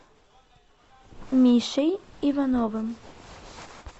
мишей ивановым